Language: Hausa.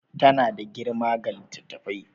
Tana da girma ga littattafai